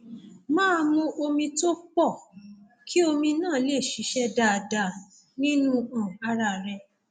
máa mu omi tó pọ kí omi náà lè ṣiṣẹ dáadáa nínú um ara rẹ